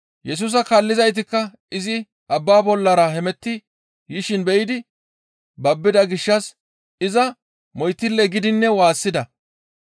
Yesusa kaallizaytikka izi abba bollara hemetti yishin be7idi babbida gishshas iza moytille giidinne waassida.